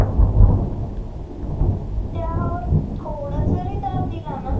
त्यावर थोडं जरी दाब दिला ना